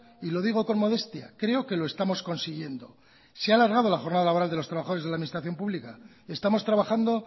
y lo digo con modestia creo que lo estamos consiguiendo se ha alargado la jornada laboral de los trabajadores de la administración pública estamos trabajando